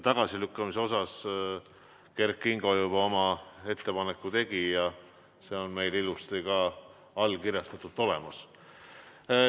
Tagasilükkamise kohta Kert Kingo juba tegi oma ettepaneku ja see on meil ilusti ka allkirjastatult olemas.